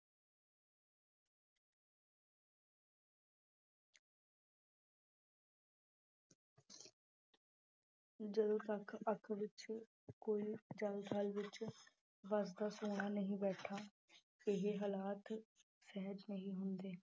ਜਦੋਂ ਤੱਕ ਅੱਖ ਵਿੱਚ ਕੋਈ ਜ਼ਲ ਥਲ ਵਿੱਚ ਵਸਦਾ ਸੋਹਣਾ ਨਹੀਂ ਬੈਠਾ ਇਹ ਹਾਲਾਤ ਸਹਿਜ ਨਹੀਂ ਹੁੰਦੇ।